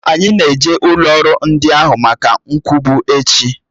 Anyi n'eje ụlọrụ ndi n'ahụ maka nkwubu echi